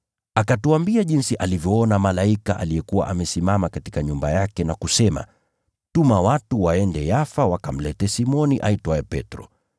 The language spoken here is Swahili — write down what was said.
Akatuambia jinsi alivyoona malaika aliyekuwa amesimama katika nyumba yake na kusema, ‘Tuma watu waende Yafa wakamlete Simoni aitwaye Petro.